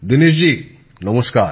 দীনেশ জি নমস্কার